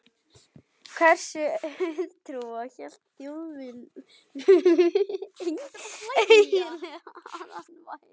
Hversu auðtrúa hélt Þjóðverjinn eiginlega að hann væri?